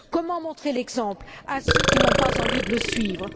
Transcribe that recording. Comment montrer l'exemple à ceux qui n'ont pas envie de le suivre?